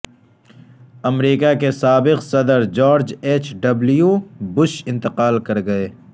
امریکہ کے سابق صدر جارج ایچ ڈبلیو بش انتقال کرگئے